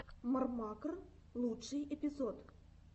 мррмакр лучший эпизод